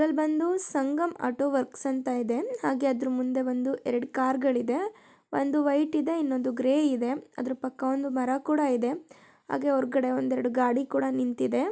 ಇಲ್ ಬಂದು Sangam auto work ಅಂತ ಇದೆ ಹಾಗೆ ಅದ್ರ ಮುಂದೆ ಒಂದು ಎರಡು ಕಾರುಗಳು ಇದೆ ಒಂದು ವೈಟ್ ಇದೆ ಇನ್ನೊಂದು ಗ್ರೇ ಇದೆ ಅದರ ಪಕ್ಕ ಒಂದು ಮರ ಕೂಡ ಇದೆ ಅದ್ರು ಹೊರಗಡೆ ಒಂದೆರಡು ಗಾಡಿ ಕೂಡ ನಿಂತಿದೆ --